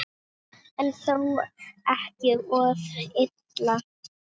En þó ekki of illa.